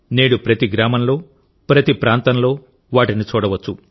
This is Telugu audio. నేడు ప్రతి గ్రామంలో ప్రతి ప్రాంతంలో వాటిని చూడవచ్చు